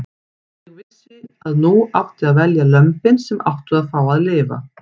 Ég vissi að nú átti að velja lömbin sem áttu að fá að lifa.